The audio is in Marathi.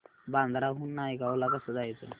बांद्रा हून नायगाव ला कसं जायचं